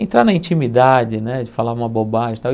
entrar na intimidade, né, de falar uma bobagem e tal.